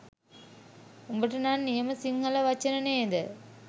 උඹට නම් නියම සිංහල වචන නේද